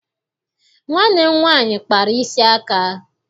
Nwanne m nwaanyị kpara isi aka.